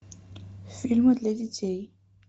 фильмы для детей